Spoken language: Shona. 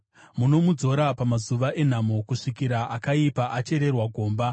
munomuzorodza pamazuva enhamo, kusvikira akaipa achererwa gomba.